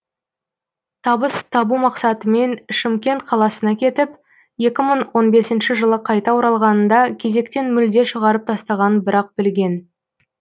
табыс табу мақсатымен шымкент қаласына кетіп екі мың он бесінші жылы қайта оралғанында кезектен мүлде шығарып тастағанын бір ақ білген